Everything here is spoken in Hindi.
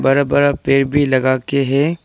बड़ा बड़ा पेड़ भी लगा के है।